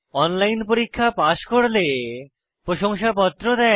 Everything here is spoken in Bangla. অনলাইন পরীক্ষা পাস করলে প্রশংসাপত্র দেয়